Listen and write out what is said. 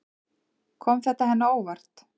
Kom þetta henni á óvart?